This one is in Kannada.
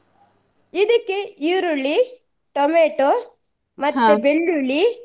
ಇದಿಕ್ಕೆ ಈರುಳ್ಳಿ tomato ಬೆಳ್ಳುಳ್ಳಿ.